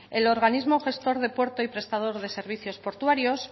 el organismo gestor de puertos y prestador de servicios portuarios